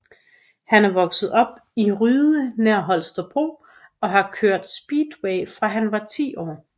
Han er vokset op i Ryde nær Holstebro og har kørt speedway fra han var 10 år